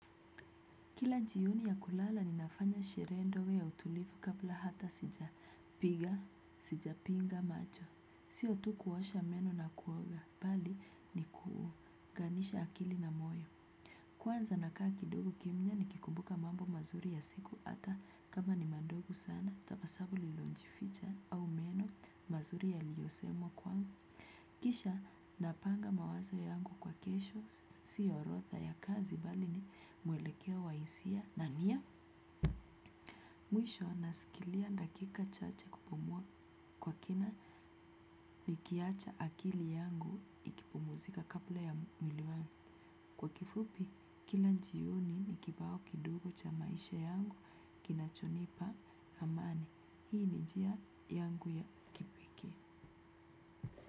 Kila jioni ya kulala ninafanya sherehe ndogo ya utulivu kabla hata sijapiga sijapinga macho. Sio tu kuosha meno na kuoga bali ni kuunganisha akili na moyo. Kwanza nakaa kidogo kimya nikikumbuka mambo mazuri ya siku hata kama ni madogo sana, tabasamu lililojificha au meno mazuri yaliyo semwa kwangu. Kisha napanga mawazo yangu kwa kesho sio orodha ya kazi bali ni mwelekeo wa hisia na ni ya mwisho nasikilia dakika chache kupumua kwa kina nikiacha akili yangu ikipumzika kabla ya mwili wangu. Kwa kifupi kila jioni ni kibao kidogo cha maisha yangu kinachonipa amani. Hii ni njia yangu ya kipekee.